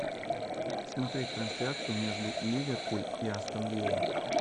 смотреть трансляцию между ливерпуль и астон вилла